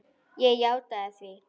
Ég játaði því.